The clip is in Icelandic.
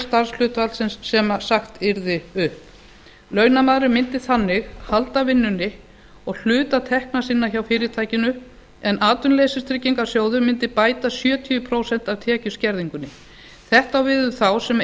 starfshlutfalls sem sagt yrði upp launamaðurinn mundi þannig halda vinnunni og hluta tekna sinna hjá fyrirtækinu en atvinnuleysistryggingasjóður mundi bæta sjötíu prósent af tekjuskerðingunni þetta á við um þá sem